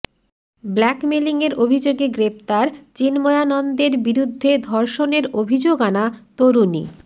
ব্ল্যাকমেলিংয়ের অভিযোগে গ্রেফতার চিন্ময়ানন্দের বিরুদ্ধে ধর্ষণের অভিযোগ আনা তরুণী